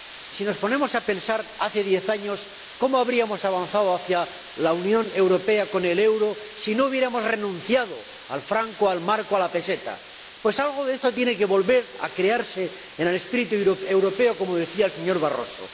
Si nos ponemos a pensar en cómo habríamos avanzado, hace diez años, hacia la Unión Europea con el euro si no hubiéramos renunciado al franco, al marco, a la peseta Pues algo de esto tiene que volver a crearse en el espíritu europeo, como decía el señor Barroso.